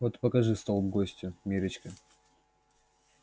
вот и покажи столб гостю миррочка